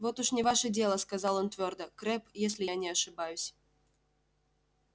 вот уж не ваше дело сказал он твёрдо крэбб если я не ошибаюсь